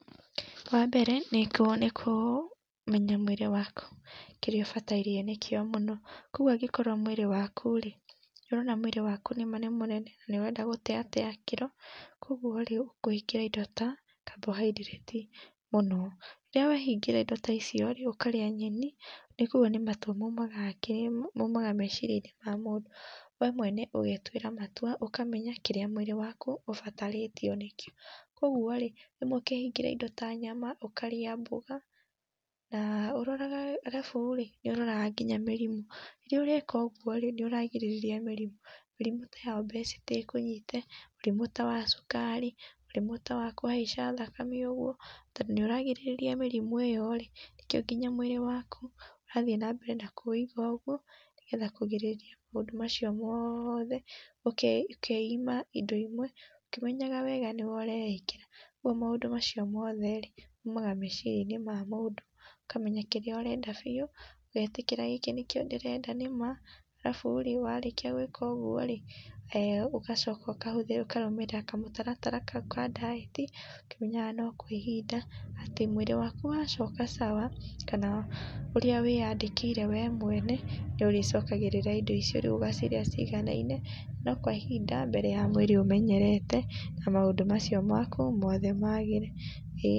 Wambere nĩ kũmenya mwĩrĩ waku kĩrĩa ũbataire nĩkĩo mũno. Kwa ũguo ngĩkorwo mwĩrĩ wakũ-rĩ nĩũrona mwĩrĩ waku nĩma nĩ mũnene na nĩ ũrenda gũteatea kiro kwa ũguo-rĩ ũkũhingĩra indo ta carbohydrates mũno, rĩrĩa wahingĩra indo ta icio-rĩ ũkarĩa nyeni nĩguo nĩ matua maũmaga meciria-inĩ ma mũndũ , we mwene ũgetuĩra matua ũkamenya kĩrĩa mwĩrĩ wakũ ũbatarĩtio nĩkio. kwoguo-rĩ rĩmwe ũkĩhingĩra indo ta nyama ũkarĩa mboga na ũroraga arabu-rĩ nĩũroraga nginya mĩrĩmũ. Rĩrĩa ũreka ũguo rĩ nĩũragirĩrĩria mĩrĩmũ, mĩrĩmũ ta ya obesity ĩkũnyite mũrimũ ta wa cukari, mũrimũ ta wa kũhaica thakame ũguo, tondũ nĩũragirĩrĩria mĩrimũ ĩyo rĩ nĩkĩo nginya mwĩrĩ waku ũrathĩi na mbere na kũwĩiga ũguo nĩgetha kũgĩrĩrĩria maũndũ macio mothe, ũkeima indo imwe ũkĩmenyaga wega nĩwe ũreĩkĩra kwa ũgũo maũndũ macio mothe rĩ maumaga meciria-inĩ ma mũndũ. Ũkamenya kĩrĩa ũrenda biũ ũgetĩkĩra gĩkĩ nĩkĩo ndĩrenda nĩma arabũ rĩ warĩkĩa gwĩka ũguo rĩ ũgacoka ũkarũmĩrĩra kamũtaratara kau ka diet ũkĩmenyaga no kwa ihinda atĩ mwĩrĩ waku wacoka sawa kana ũrĩa wĩyandĩkĩire we mwene nĩũrĩcokagĩrĩra indo icio rĩu ũgacĩria ciganaine, no kwa ihinda mbere ya mwĩrĩ ũmenyerete na maũndũ macio maku mothe magĩre.